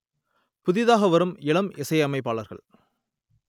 புதிதாக வரும் இளம் இசையமைப்பாளர்கள்